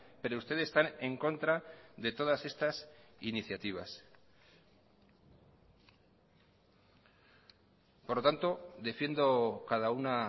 pero ustedes están en contra de todas estas iniciativas por lo tanto defiendo cada una